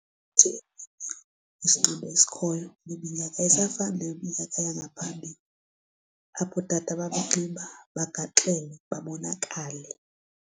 isinxibo esikhoyo kule minyaka ayisafani neminyaka yangaphambili apho ootata babanxiba bagaxele babonakale.